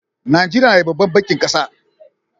Najeriya na da babban bankin kasa.